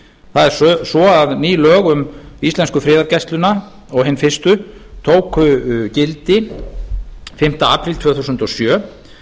það er svo að ný lög um íslensku friðargæsluna og hin fyrstu tóku gildi fimmti apríl tvö þúsund og sjö